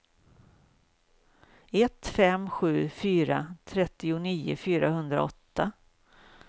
ett fem sju fyra trettionio fyrahundraåtta